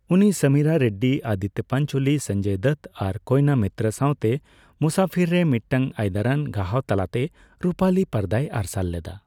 ᱩᱱᱤ ᱥᱚᱢᱤᱨᱟ ᱨᱮᱰᱰᱤ, ᱟᱫᱤᱛᱛᱚ ᱯᱟᱧᱪᱳᱞᱤ, ᱥᱚᱧᱡᱚᱭ ᱫᱚᱛᱛᱚ ᱟᱨ ᱠᱳᱭᱮᱱᱟ ᱢᱤᱛᱨᱚ ᱥᱟᱣᱛᱮ ᱢᱩᱥᱟᱯᱷᱤᱨ ᱨᱮ ᱢᱤᱫᱴᱟᱝ ᱟᱹᱭᱫᱟᱨᱟᱱ ᱜᱟᱦᱟᱣ ᱛᱟᱞᱟᱛᱮ ᱨᱩᱯᱟᱹᱞᱤ ᱯᱚᱨᱫᱟᱭ ᱟᱨᱥᱟᱞ ᱞᱮᱫᱟ ᱾